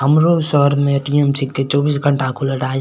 हमरो शहर में ए.टी.एम. चौबीस घंटा खुलल --